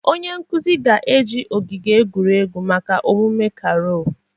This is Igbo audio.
Onye nkuzi ga-eji ogige egwuregwu maka omume carol